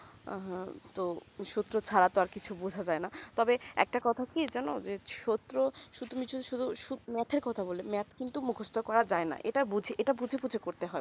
আহ হা তো সূত্র খারাপ আর কিছু বোঝা যায় না তবে একটা কথা কি জানো সূত্র সুতমিছে শুধু math এ কথা বলে math কিন্তু মুকস্ত করা যায় না এইটা বুঝে এইটা বুঝে বুঝে করতে হয়ে